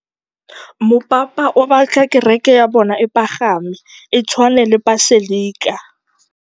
Mopapa o batla kereke ya bone e pagame, e tshwane le paselika.